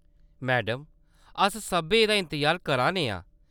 Madam, अस सब्भै एह्‌‌‌दा इंतजार करा ने आं।